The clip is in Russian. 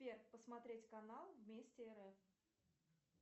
сбер посмотреть канал вместе рф